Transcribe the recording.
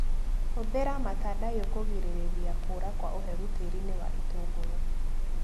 Hũthĩra matandaiyo kũgirĩrĩria kũra kwa ũhehu tĩrinĩ wa itũngũrũ.